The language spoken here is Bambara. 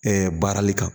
baarali kan